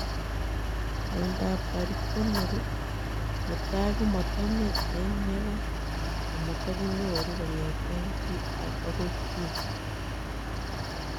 Miondoop Tarikonol netai komatamii eng yegai ..amatakinyoruu kongetee chii agoi chii